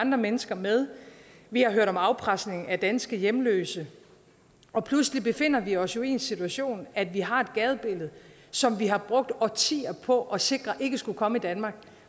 andre mennesker med vi har hørt om afpresning af danske hjemløse og pludselig befinder vi os jo i den situation at vi har et gadebillede som vi har brugt årtier på at sikre ikke skulle komme i danmark